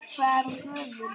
Hvað er hún gömul?